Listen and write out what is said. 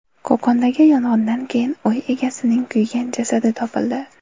Qo‘qondagi yong‘indan keyin uy egasining kuygan jasadi topildi.